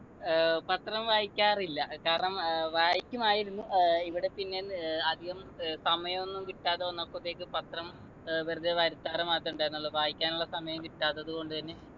ഏർ പത്രം വായിക്കാറില്ല ഏർ കാരണം ഏർ വായിക്കുമായിരുന്നു ഏർ ഇവിടെപ്പിന്നെ ന്ന് ഏർ അധികം ഏർ സമായൊന്നും കിട്ടാതെ വന്നപ്പത്തേക്ക് പത്രം ഏർ വെറുതെ വരുത്താറ് മാത്രേ ഉണ്ടായിരുന്നുള്ളു വായിക്കാനുള്ള സമയം കിട്ടാത്തത് കൊണ്ട് തന്നെ